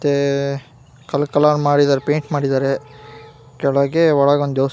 ಮತ್ತೆ colour colour ಮಾಡಿದ್ದಾರೆ paint ಮಾಡಿದ್ದಾರೆ ಕೆಳ್ಗೆ ಒಳಗ ಒಂದ ದೆವಸ್ತಾನ್ --